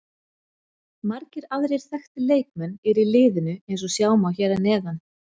Margir aðrir þekktir leikmenn eru í liðinu eins og sjá má hér að neðan.